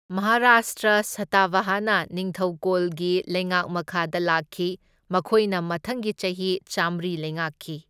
ꯃꯍꯥꯔꯥꯁꯇ꯭ꯔ ꯁꯇꯥꯕꯍꯥꯅꯥ ꯅꯤꯡꯊꯧꯀꯣꯜꯒꯤ ꯂꯩꯉꯥꯛ ꯃꯈꯥꯗ ꯂꯥꯛꯈꯤ, ꯃꯈꯣꯏꯅ ꯃꯊꯪꯒꯤ ꯆꯍꯤ ꯆꯥꯝꯃꯔꯤ ꯂꯩꯉꯥꯛꯈꯤ꯫